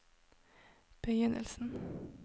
begynnelsen